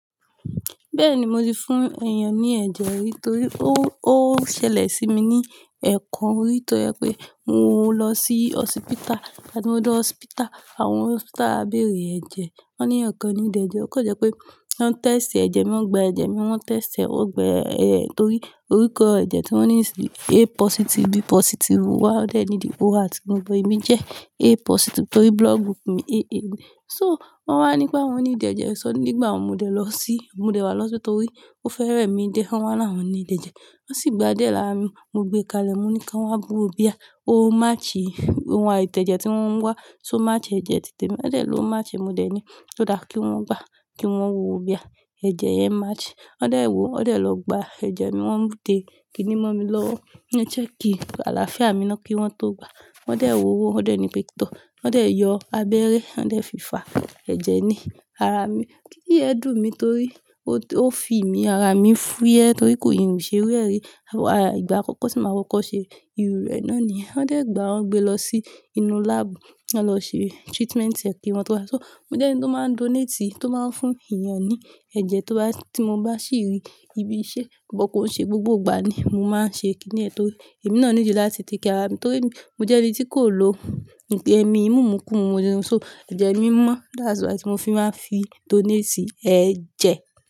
Bẹ́ẹ̀ni, mo ti fún èèyàn ní ẹ̀jẹ̀ rí torí ó, ó ṣẹlẹ̀ sí mi ní ẹ̀ẹ̀kan orí tó jẹ pé mo lọ sí hospital. Igba tí mo dé hospital, àwọn hospital béèrè ẹ̀jẹ̀. Wọ́n ní ẹ̀ẹ̀kan ní ìdè ẹ̀jẹ̀. Ó kọ́ jẹ́ pé wọ́n test ẹ̀jẹ̀ mi, wọ́n gba ẹ̀jẹ̀ mi, wọ́n test ẹ́, ó gba ẹ̀, torí orúkọ ẹ̀jẹ̀ tí wọ́n níìsì A positive, B positive wá lẹ́yìn tí ó wà tí mo gbọ́ èmi jẹ́ A positive torí blood group mi AA ni. So wọ́n wá ní pé wọn ní ìdè ẹ̀jẹ̀ sọ́n nígbà wo mo dẹ̀ lọ sí, mo dẹ̀ wá lọ́sọ tó rí. Ó fẹ́rẹ̀ mi dé, wọ́n wá là wọ́n ní ìdè ẹ̀jẹ̀. Wọ́n sì gba adé làá mi, mo gbé kalẹ̀, mo ní kí wọ́n wá bu owó bíà. Ó match ìhù, àwọn àìtẹ̀jẹ̀ tí wọ́n ń wá, so máa match ẹ̀jẹ̀ títè mi. Wọ́n dẹ̀ lóún máa match èmi dẹ̀ ní ó dára kí wọ́n gba, kí wọ́n wọ̀ owó bíà. Ẹ̀jẹ̀ yẹn match. Wọ́n dẹ̀ wò ó, wọ́n dẹ̀ lọ gba ẹ̀jẹ̀ mi, wọ́n mú dé kiní mọ́ mi lọ́wọ́. Wọ́n ní ẹ check kí àlàáfíà mi náà kí wọ́n tó gba. Wọ́n dẹ̀ wò ó, wọ́n dẹ̀ ní pé tọ́. Wọ́n dẹ̀ yọ abẹ́rẹ́, wọ́n dẹ̀ fi fà ẹ̀jẹ̀ ni ara mi. Kínì yèn dùn mi torí ó ti, ó fi ìmi ara mi fúyẹ́ torí kò ì rù ṣe rí rẹ́ rí. Àw, àì ìgbà àkọ́kọ́ sí màá kọ́kọ́ ṣe ìrù rẹ̀ náà ni. Wọ́n dẹ̀ gbà á, wọ́n gbé lọ sí inú lab. Wọ́n lọ ṣe treatment ẹ̀ kí wọn tó wá. So mo jẹ́ ẹni tó máa ń donate, tó máa ń fún èèyàn ní ẹ̀jẹ̀ tó bá, tí mo bá sì rí ibi iṣẹ́, kò bá kun ṣe gbogbo ìgbà ni mo máa ń ṣe kiní ẹ̀ torí èmi náà ń jijọ láti tìkí ara mi torí mo jẹ́ ẹni tí kò lo ńpẹ ẹmi, mímu ńkún, mo dín. So ẹ̀jẹ̀ mi mọ́, that's why tí mo fi máa ń fi donate sí ẹ̀jẹ̀.